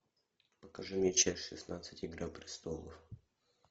покажи мне часть шестнадцать игра престолов